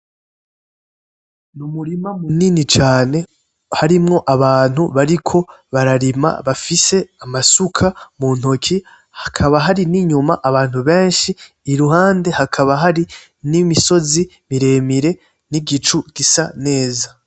Ni umurima munini cane harimwo abantu bariko bararima bafise amasuka mu ntoke hakaba hari n'inyuma abantu benshi iruhande hakaba hari n'imisozi miremire n'igicu gisa neza.